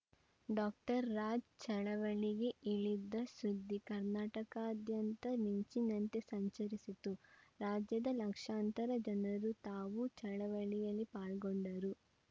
doctor Raj ಚಳವಳಿಗೆ ಇಳಿದ ಸುದ್ದಿ ಕರ್ನಾಟಕದಾದ್ಯಂತ ಮಿಂಚಿನಂತೆ ಸಂಚರಿಸಿತು ರಾಜ್ಯದ ಲಕ್ಷಾಂತರ ಜನರು ತಾವೂ ಚಳವಳಿಯಲ್ಲಿ ಪಾಲ್ಗೊಂಡರು